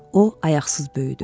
O ayaqsız böyüdü.